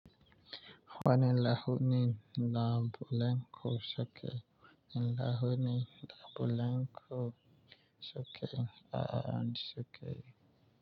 Wani lahuni na bulanku cike, lahuni na bulanku cike, a'a, an cike.